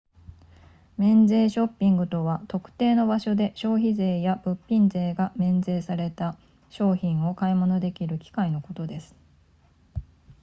免税ショッピングとは特定の場所で消費税や物品税が免税された商品を買い物できる機会のことです